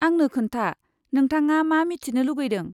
आंनो खोन्था, नोंथाङा मा मिथिनो लुगैदों?